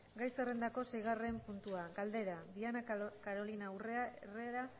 gai zerrendako seigarren puntua galdera diana carolina urrea herrera